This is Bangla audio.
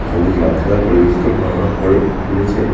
সবুজ গাছ ছাড়া পরিবেশকে পড়ারপ করে তুলেছে।